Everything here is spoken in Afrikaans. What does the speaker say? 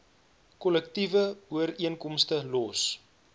kollektiewe ooreenkomste los